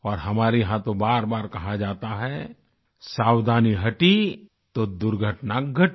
और हमारे यहाँ तो बारबार कहा जाता है सावधानी हटी तो दुर्घटना घटी